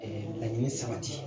laɲini sabati